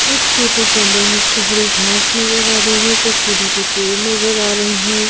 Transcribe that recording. इस फोटो के अंदर मुझको हरी घास नजर आ रही है कुछ दूरी पे पेड़ नजर आ रहे हैं।